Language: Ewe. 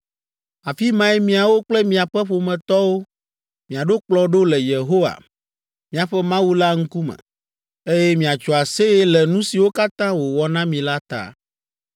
Afi mae miawo kple miaƒe ƒometɔwo miaɖo kplɔ̃ ɖo le Yehowa, miaƒe Mawu la ŋkume, eye miatso aseye le nu siwo katã wòwɔ na mi la ta.